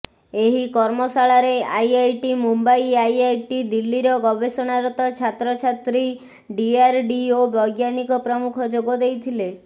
ଏହି କର୍ମଶାଳାରେ IIT Mumbai IIT ଦିଲ୍ଲୀର ଗବେଷଣାରତ ଛାତ୍ରଛାତ୍ରୀ ଡିଆର୍ଡିଓ ବୈଜ୍ଞାନିକ ପ୍ରମୁଖ ଯୋଗ ଦେଇଥିଲେ